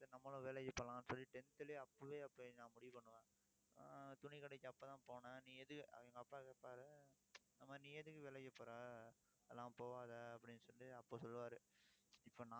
சரி நம்மளும் வேலைக்கு போலாம்ன்னு சொல்லி tenth லயே அப்பவே நான் முடிவு பண்ணுவேன் ஆஹ் துணிக்கடைக்கு அப்பதான் போனேன். நீ எது எங்க அப்பா கேப்பாரு இந்த மாதிரி நீ எதுக்கு வேலைக்கு போறே அதெல்லாம் போகாதே அப்படின்னு சொல்லிட்டு அப்ப சொல்லுவாரு